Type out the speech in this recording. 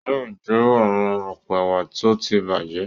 Yóò jó àwọn àpò ẹ̀wà tó ti bàjẹ́.